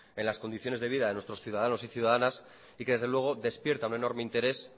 en las condiciones de vida de nuestros ciudadanos y ciudadanas y que desde luego despierta un enorme interés